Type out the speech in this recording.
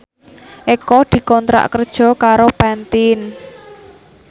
Eko dikontrak kerja karo Pantene